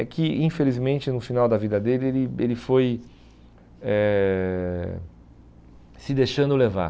É que, infelizmente, no final da vida dele, ele ele foi eh se deixando levar.